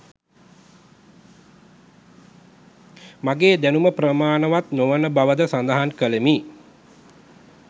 මාගේ දැනුම ප්‍රමාණවත් නොවන බවද සඳහන් ‍කළෙමි